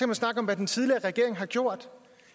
man snakke om hvad den tidligere regering har gjort